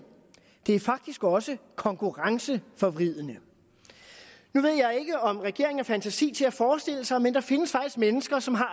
det er faktisk også konkurrenceforvridende nu ved jeg ikke om regeringen har fantasi til at forestille sig det men der findes faktisk mennesker som har